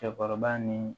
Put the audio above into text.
Cɛkɔrɔba ni